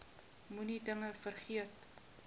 moenie dinge vergeet